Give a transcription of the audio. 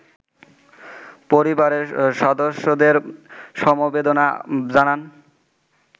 পরিবারের সদস্যদের সমবেদনা জানান